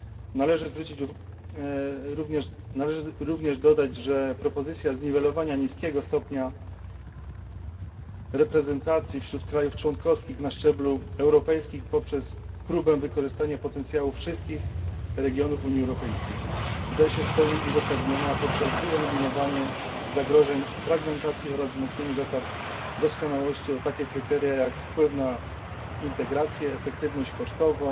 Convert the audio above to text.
Należy również dodać, że propozycja zniwelowania niskiego stopnia reprezentacji wśród krajów członkowskich na szczeblu europejskim poprzez próbę wykorzystania potencjału wszystkich regionów Unii Europejskiej wydaje się w pełni uzasadniona poprzez wyeliminowanie zagrożeń fragmentacji oraz wzmocnienie zasad doskonałości o takie kryteria, jak wpływ na integrację, efektywność kosztową